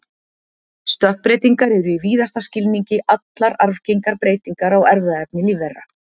stökkbreytingar eru í víðasta skilningi allar arfgengar breytingar á erfðaefni lífvera